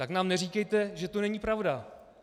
Tak nám neříkejte, že to není pravda!